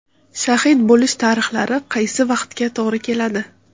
Shahid bo‘lish tarixlari qaysi vaqtga to‘g‘ri keladi?